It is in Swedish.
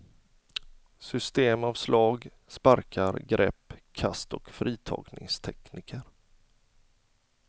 System av slag, sparkar, grepp, kast och fritagningstekniker.